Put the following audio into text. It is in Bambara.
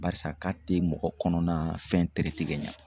Barisa k'a tɛ mɔgɔ kɔnɔna fɛn ka ɲɛ.